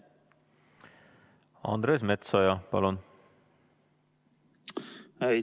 Andres Metsoja, palun!